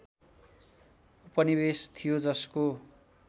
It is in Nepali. उपनिवेश थियो जसको